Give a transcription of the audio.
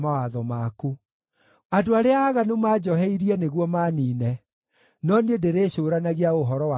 Andũ arĩa aaganu manjoheirie nĩguo maaniine, no niĩ ndĩrĩĩcũũranagia o ũhoro wa kĩrĩra gĩaku.